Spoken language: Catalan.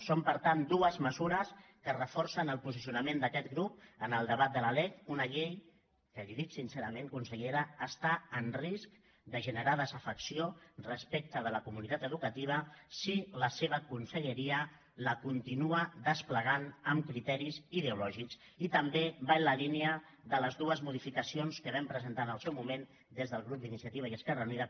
són per tant dues mesures que reforcen el posicionament d’aquest grup en el debat de la lec una llei que li ho dic sincerament consellera està en risc de generar desafecció respecte a la comunitat educativa si la seva conselleria la continua desplegant amb criteris ideològics i també van en la línia de les dues modificacions que vam presentar en el seu moment des del grup d’iniciativa i esquerra unida